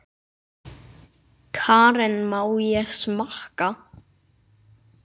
Karen: Má ég smakka?